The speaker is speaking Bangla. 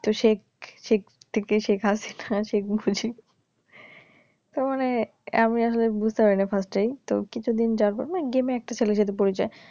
তো শেখ শেখ থেকে শেখ হাসিনা শেখ মুজিব তো মানে আমি আসলে বুঝতে পারি নাই ফাস্টেই তো কিছু দিন যাওয়ার পর মানে গেমে একটা ছেলের সাথে পরিচয়